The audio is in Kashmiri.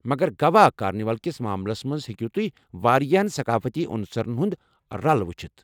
مگر گوا کارنیولَ كِس ماملس منز ہیكِو تُہۍ واریاہن ثقافٔتی عُنصَرن ہٖند رل وُچھِتھ ۔